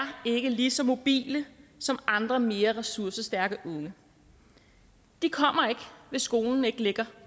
ikke lige så mobile som andre mere ressourcestærke unge de kommer ikke hvis skolen ikke ligger